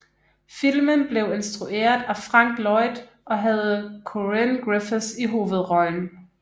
Filmen blev instrueret af Frank Lloyd og havde Corinne Griffith i hovedrollen